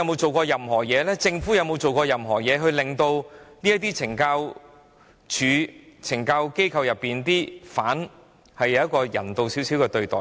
保安局和政府有沒有設法令懲教機構內的囚犯獲得較人道的對待？